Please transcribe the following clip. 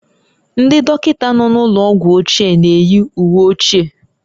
Ndị dọkịta nọ n'ụlọ ọgwụ ochie na-eyi uwe ochie